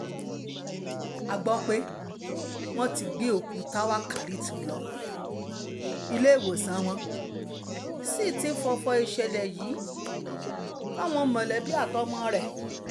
a gbọ́ pé wọ́n ti gbé òkú táwákálítu lọ́ọ́ iléewòsàn wọ́n sì ti fọ́fọ́ ìṣẹ̀lẹ̀ yìí fáwọn mọ̀lẹ́bí àtọmọ rẹ̀